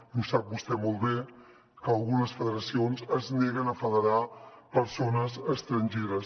i ho sap vostè molt bé que algunes federacions es neguen a federar persones estrangeres